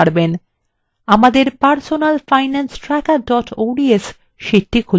আমাদের personal finance tracker ods sheetটি খুলুন